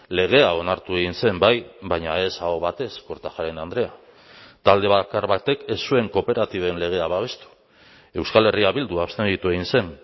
legea onartu egin zen bai baina ez aho batez kortajarena andrea talde bakar batek ez zuen kooperatiben legea babestu euskal herria bildu abstenitu egin zen